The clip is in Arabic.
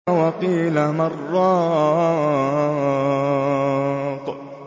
وَقِيلَ مَنْ ۜ رَاقٍ